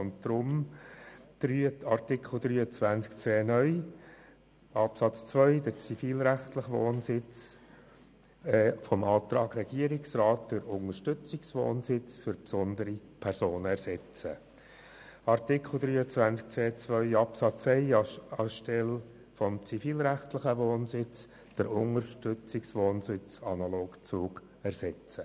Deshalb soll in Artikel 23c (neu) Absatz 1 der zivilrechtliche Wohnsitz des regierungsrätlichen Antrags durch den Unterstützungswohnsitz für besondere Personen analog ZUG ersetzt werden.